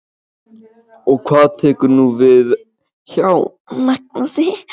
Og hvað tekur nú við hjá Magnúsi?